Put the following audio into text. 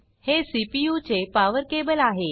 हे सीपीयू चे power cable आहे